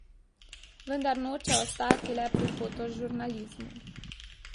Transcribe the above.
Vendar noče ostati le pri fotožurnalizmu.